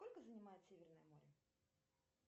сколько занимает северное море